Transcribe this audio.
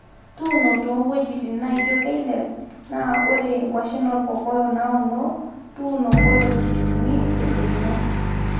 tuuno ntoo wuejitin naijo keilep naa ore kwashen olkokoyok nauno, tuuno mpolosi uni te doinyo